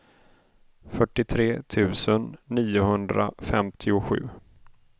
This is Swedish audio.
fyrtiotre tusen niohundrafemtiosju